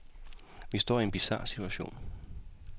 Vi står i en bizar situation.